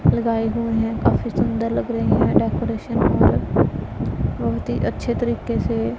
लगाए हुए हैं काफी सुंदर लग रही हैं डेकोरेशन और बहोत ही अच्छे तरीके से--